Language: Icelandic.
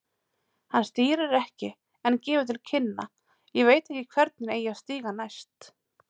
Hann stýrir ekki en gefur til kynna, ég veit ekki hvernig, eigi að stíga næst.